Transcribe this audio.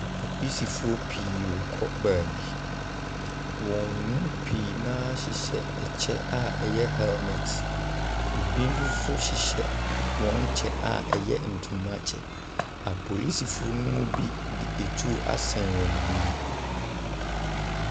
Apolisifoɔ pii rekɔ beebi. Wɔn mu pii na hyehyɛ ɛkyɛ a ɛyɛ hɛlmɛt. Ebi mo so hyehyɛ wɔn kyɛ a ɛyɛ ntoma kyɛ. Apolisifoɔ ne mu bi de etuo asɛn wɔn enim.